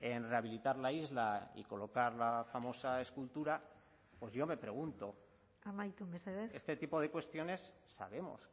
en rehabilitar la isla y colocar la famosa escultura pues yo me pregunto amaitu mesedez este tipo de cuestiones sabemos